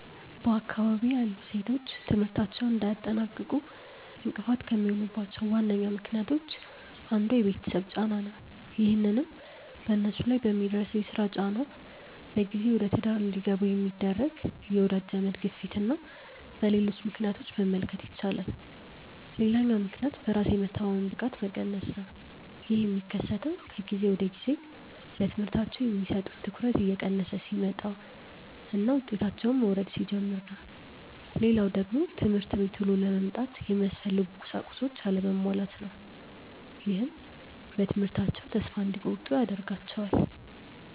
በአካባቢዬ ያሉ ሴቶች ትምህርታቸውን እንዳያጠናቅቁ እንቅፋት ከሚሆኑባቸው ዋነኛ ምክንያቶች አንዱ የቤተሰብ ጫና ነው። ይህንንም በነሱ ላይ በሚደርሰው የስራ ጫና፣ በጊዜ ወደትዳር እንዲገቡ በሚደረግ የወዳጅ ዘመድ ግፊትና በሌሎች ምክንያቶች መመልከት ይቻላል። ሌላኛው ምክንያት በራስ የመተማመን ብቃት መቀነስ ነው። ይህ የሚከሰተው ከጊዜ ወደጊዜ ለትምህርታቸው የሚሰጡት ትኩረት እየቀነሰ ሲመጣና ውጤታቸውም መውረድ ሲጀምር ነው። ሌላው ደግሞ ትምህርት ቤት ውሎ ለመምጣት የሚያስፈልጉ ቁሳቁሶች አለመሟላት ነው። ይህም በትምህርታቸው ተስፋ እንዲቆርጡ ያደርጋቸዋል።